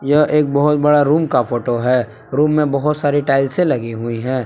यह एक बहोत बड़ा रूम का फोटो है रूम में बहोत सारी टाइल्से लगी हुई है।